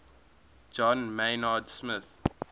john maynard smith